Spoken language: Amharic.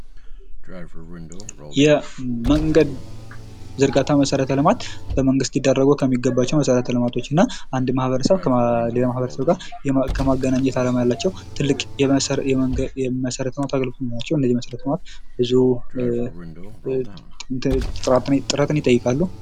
የመንገድ ዝርጋታ መሠረተ ልማት በመንግሥት ሊደረጉ ከሚገባቸው መሠረተ ልማትና አንድ ማህበረሰብ ከሌላው ማህበረሰብ ጋር የማገናኘት አላማ ያላቸው ትልቅ የመሠረተ ልማት አገልግሎት ናቸዉ ብዙ ጥረትን ይጠይቃሉ።